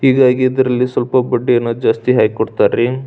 ಹೀಗಾಗಿ ಇದರಲ್ಲಿ ಸ್ವಲ್ಪ ಬಡ್ಡಿಯನ್ನು ಜಾಸ್ತಿ ಹಾಕಿ ಕೊಡ್ತರ್ ರೀ.